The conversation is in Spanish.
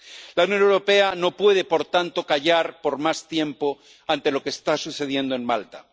La Unión Europea no puede por tanto callar por más tiempo ante lo que está sucediendo en Malta.